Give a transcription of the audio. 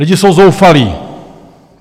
Lidi jsou zoufalí.